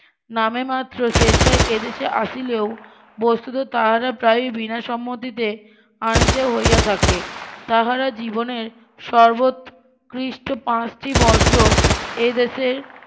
নামে মাত্র স্বেচ্ছায় এদেশে আসিলেও বস্তুত তাহারা প্রায় বিনা সন্মতিতে আনিতে হইয়া থাকে তাহারা জীবনের সর্বোৎকৃষ্ট পাঁচটি বর্জ্য এইদেশের